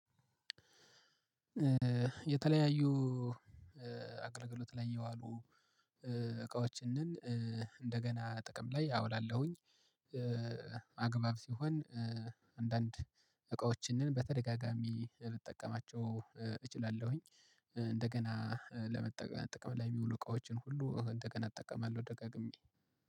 የተለያዩ አገልግሎት ላይ የዋሉ እቃዎችንን እንደገና ጥቅም ላይ አውላለሁኝ። አግባብ ሲሆን አንዳንድ እቃዎችንን በተደጋጋሚ ልጠቀማቸው እችላለሁኝ። እንደገና ለመጠ ለመጠቀም ላይ ሚውሉ እቃዎችን ሁሉ እንደገና እጠቀማለሁ ደጋግሜ